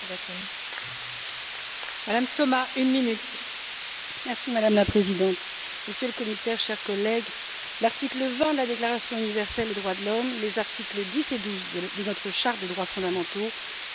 Madame la Présidente, Monsieur le Commissaire, chers collègues, l'article 20 de la déclaration universelle des droits de l'homme, les articles 10 et 12 de notre charte des droits fondamentaux consacrent le droit de se réunir et de manifester ses idées pacifiquement.